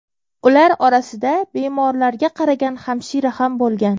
Ular orasida bemorlarga qaragan hamshira ham bo‘lgan.